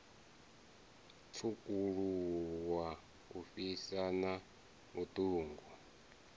tswukuluwa u fhisa na vhuṱungu